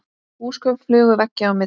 Húsgögn flugu veggja á milli.